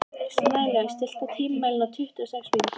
Snælaug, stilltu tímamælinn á tuttugu og sex mínútur.